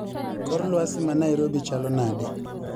Kor lwasi manairobi chalo nade